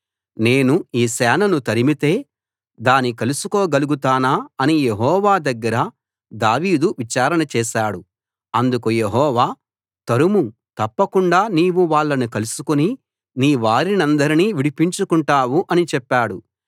నేను ఈ సేనను తరిమితే దాని కలుసుకోగలుగుతానా అని యెహోవా దగ్గర దావీదు విచారణ చేశాడు అందుకు యెహోవా తరుము తప్పకుండా నీవు వాళ్ళని కలుసుకుని నీవారినందరినీ విడిపించుకుంటావు అని చెప్పాడు